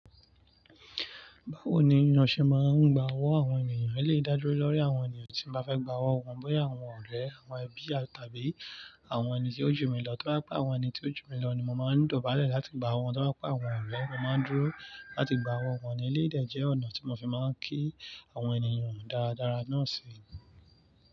Báwo ni iyanṣẹ máa ń gba ọwọ́ àwọn ènìyàn? A lè dá dúró lórí àwọn ènìyàn tí mo ba fe gba ọwọ́ wọn, bóyá àwọn ọ̀rẹ́, àwọn ẹbí àti àbí àwọn ènìyàn tí ó jù mí lọ. Tí o bá jẹ pé àwọn ènì tí ó jù mí lọ ni mo máa ń dobalẹ̀ láti gba owó wọn. To bá jẹ́ pé àwọn ọ̀rẹ́, mo máa ń dúró láti gba owó wọn ní eleyii dé jẹ́ ọ̀nà tí mo fi máa ń kí àwọn ènìyàn dáradára náà sì rẹ.